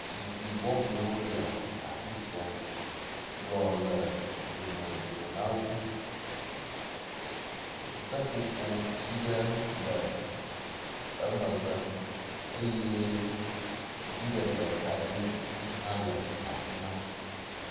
zikpi bɔboewo le afisia kplɔ̃ le dome dome nawo seƒoƒo tsi ɖe le emegbe eye dziɖegbe kaɖi hã le afima